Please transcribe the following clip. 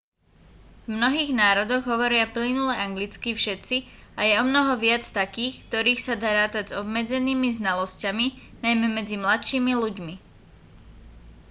v mnohých národov hovoria plynule anglicky všetci a je omnoho viac takých v ktorých sa dá rátať s obmedzenými znalosťami najmä medzi mladšími ľuďmi